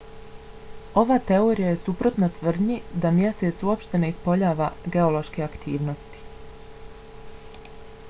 ova teorija je suprotna tvrdnji da mjesec uopšte ne ispoljava geološke aktivnosti